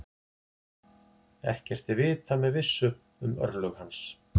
Ekkert er vitað með vissu um örlög hans.